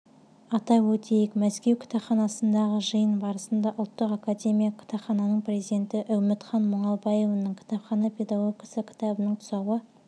атап өтейік мәскеу кітапханасындағы жиын барысында ұлттық академиялық кітапхананың президенті үмітхан мұңалбаеваның кітапхана педагогикасы кітабының тұсауы